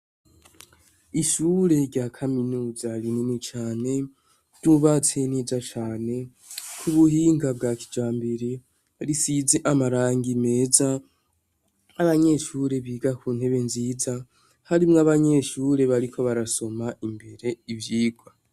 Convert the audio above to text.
Ishure ryakaminuza rinini cane ryubatse neza cane kubuhinga bwa kijambere risize amarangi meza nabanyeshure bigakuntebe nziza harimwo abanyeshure bariko barasoma imbere ivyirwa